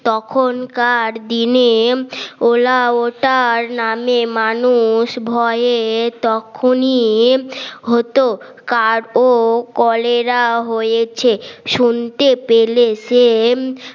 তখনকার দিনে ওলা ও তার নামে মানুষ ভয়ে তখনই হতো কারো কলেরা হয়েছে শুনতে পেলে সে